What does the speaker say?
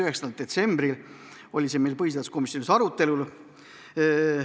9. detsembril oli see meil komisjonis arutelul.